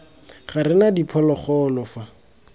ga re na diphologolo fa